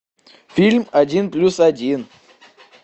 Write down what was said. фильм один плюс один